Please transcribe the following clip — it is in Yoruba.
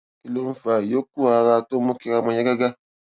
kí ló ń fa ìyókù ara tó ń mú kí ara máa yá gágá